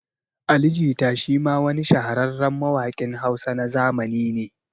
Ali Jita shi ma wa ni shahararren mawaƙin Hausa na zamani ne